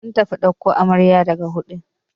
Mun tafi ɗauko amarya daga wudil.